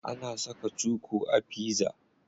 Ana saka cuku a pizza.